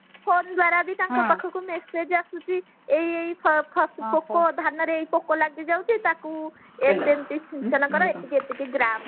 ପରିବାର ବି ତାଙ୍କ ପାଖକୁ message ଆସୁଛି ଏଇ ଏଇ ଫଳ ପୋକ ଧାନରେ ଏଇ ପୋକ ଲାଗି ଯାଉଛି ତାକୁ ଏମିତି ଏମିତି ସିଞ୍ଚନ କର ଏତିକି ଏତିକି ଗ୍ରାମ ର